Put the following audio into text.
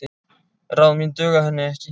Ráð mín duga henni ekki.